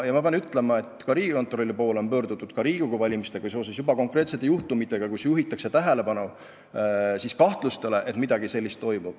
Pean ütlema, et ka Riigikontrolli poole on juba pöördutud Riigikogu valimistega seoses konkreetsete juhtumitega, kus juhitakse tähelepanu kahtlustele, et midagi sellist toimub.